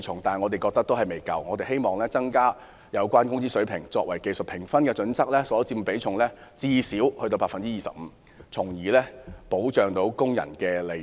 但是，這還未足夠，我們希望把工資水平納入技術評分準則，其所佔比重不少於 25%， 從而保障工人的利益。